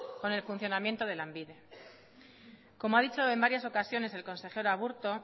con el funcionamiento de lanbide como ha dicho en varias ocasiones el consejero aburto